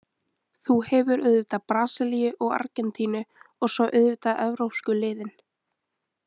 Þú hefur auðvitað Brasilíu og Argentínu og svo auðvitað evrópsku liðin.